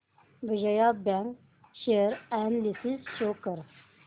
Vijaya bank share analysis show कर